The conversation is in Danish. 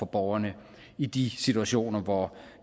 borgerne i de situationer hvor